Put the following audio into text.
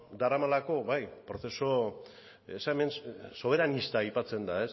daramalako prozesu soberanista aipatzen da